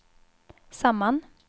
samman